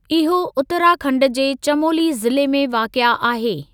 इहो उतराखंड जे चमोली ज़िले में वाक़िआ आहे।